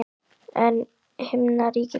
Er himnaríki til?